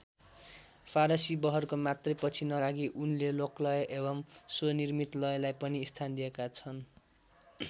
फारसी बहरको मात्रै पछि नलागी उनले लोकलय एवं स्वनिर्मित लयलाई पनि स्थान दिएका छन्।